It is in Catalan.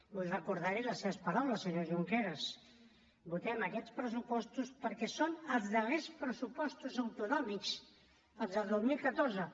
vull recordar li les seves paraules senyor junqueras votem aquests pressupostos perquè són els darrers pressupostos autonòmics els del dos mil catorze